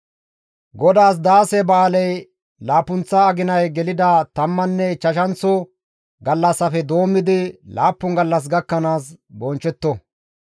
«GODAAS Daase ba7aaley laappunththa aginay gelida tammanne ichchashanththo gallassafe doommidi laappun gallas gakkanaas bonchchetto.